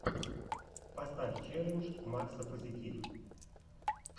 поставь челлендж макса позитив